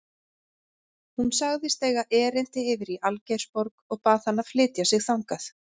Hún sagðist eiga erindi yfir í Algeirsborg og bað hann að flytja sig þangað.